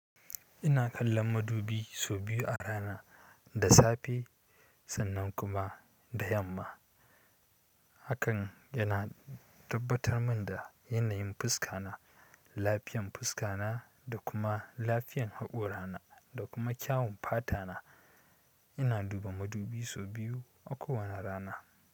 Ina kallon madubi sau biyu a rana, da safe sannan kuma da yamma. Hakan yana tabbatar min da yanayin fuska na, lafiyan fuska na da kuma lafiyan haƙora na da kuma kyawun fata na. Ina duba madubi sau biyu a kowane rana.